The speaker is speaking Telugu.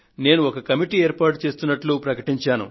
నేను ఒక కమిటీని ఏర్పాటు చేస్తున్నట్లు ప్రకటించాను